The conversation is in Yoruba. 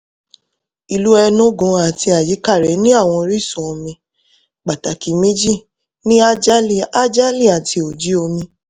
ìlú enugu àti àyíká rẹ̀ ní àwọn orísun omi pàtàkì méjì ní ajali ajali àti oji omi